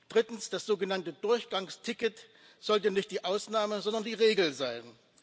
Drittens sollte das sogenannte Durchgangsticket nicht die Ausnahme, sondern die Regel sein.